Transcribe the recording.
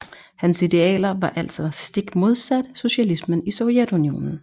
Hans idealer var altså stikmodsat socialismen i Sovjetunionen